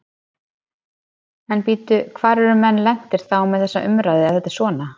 En bíddu, hvar eru menn lentir þá með þessa umræðu ef þetta er svona?